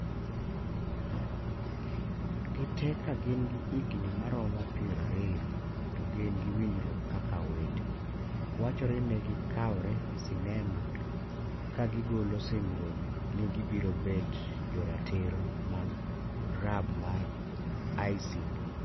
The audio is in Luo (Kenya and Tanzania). Gite ka gin gi higni ma romo piero ariyo to gin gi winjruok kaka owete, wachore ni negi kawre sinema ka gigolo singruok ni gibiro bet joratiro mag grub mar IS